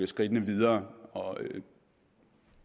skridt videre